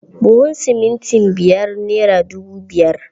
Buhun simintin biyar nera dubu biyar.